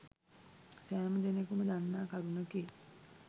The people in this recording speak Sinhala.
සෑම දෙනකුම දන්නා කරුණකි.